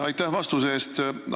Aitäh vastuse eest!